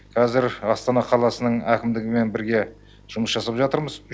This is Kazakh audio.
қазір астана қаласы әкімдігімен бірге жұмыс жасап жатырмыз